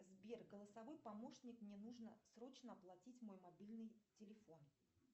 сбер голосовой помощник мне нужно срочно оплатить мой мобильный телефон